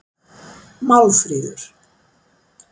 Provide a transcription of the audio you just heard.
Málfríður